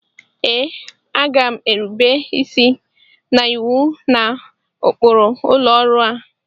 Ee, a ga m erube isi na iwu na ụkpụrụ ụlọ ọrụ a